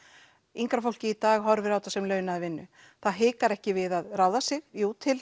yngra fólkið í dag horfir á þetta sem launaða vinnu það hikar ekki við að ráða sig jú til